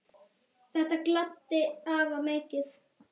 Þetta gladdi afa mikið.